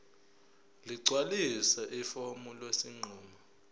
ligcwalise ifomu lesinqumo